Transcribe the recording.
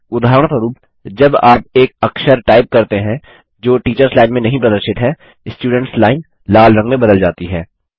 उदाहरणस्वरुप जब आप एक अक्षर टाइप करते हैं जो टीचर्स लाइन में नहीं प्रदर्शित है स्टुडेंट्स लाइन लाल रंग में बदल जाती है